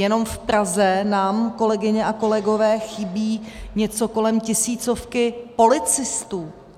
Jenom v Praze nám, kolegyně a kolegové, chybí něco kolem tisícovky policistů.